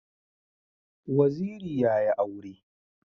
Waziri yayi aure